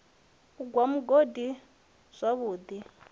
u gwa mugodi zwavhu ḓi